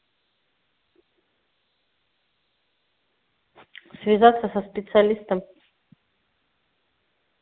связаться со специалистом